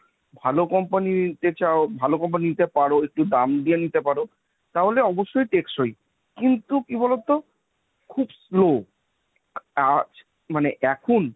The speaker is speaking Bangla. ভালো company নিতে চাও ভালো company নিতে পারো, একটু দাম দিয়ে নিতে পারো, তাহলে অবশ্যই টেকসই। কিন্তু কি বলতো, খুব slow। আজ মানে এখন